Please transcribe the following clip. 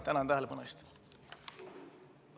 Tänan tähelepanu eest!